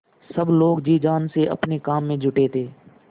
सब लोग जी जान से अपने काम में जुटे थे